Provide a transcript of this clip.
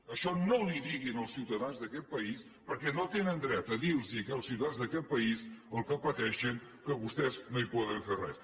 això no els ho digui als ciutadans d’aquest país perquè no tenen dret a dir los als ciutadans d’aquest país pel que pateixen que vostès no hi poden fer res